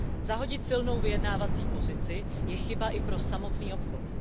Zahodit silnou vyjednávací pozici je chyba i pro samotný obchod.